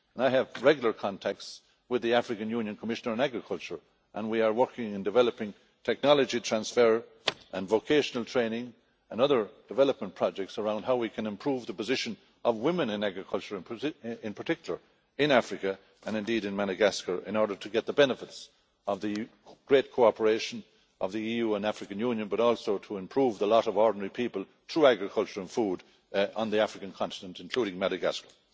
I have regular contacts with the African Union Commissioner for Agriculture and we are working on developing technology transfer and vocational training and other development projects around how we can improve the position of women in agriculture in particular in Africa and indeed in Madagascar in order to get the benefits of the great cooperation of the EU and the African Union, but also to improve the lot of ordinary people through agriculture and food on the African continent, including Madagascar.